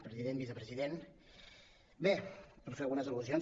president vicepresident bé per fer algunes al·lusions